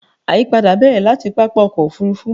àyípadà bẹ̀rẹ̀ láti pápá ọkọ̀ òfurufú